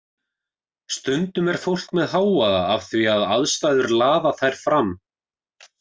Stundum er fólk með hávaða af því að aðstæður laða þær fram.